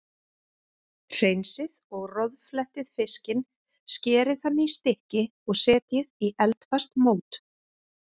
Hreinsið og roðflettið fiskinn, skerið hann í stykki og setjið í eldfast mót.